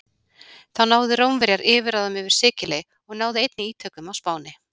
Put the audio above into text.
Þá náðu Rómverjar yfirráðum yfir Sikiley og náðu einnig ítökum á Spáni.